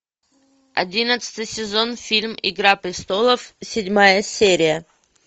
одиннадцатый сезон фильм игра престолов седьмая серия